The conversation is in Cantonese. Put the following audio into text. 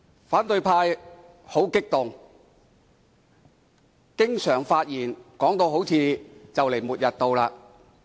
反對派十分激動，經常在發言時把修改《議事規則》說成末日來臨般。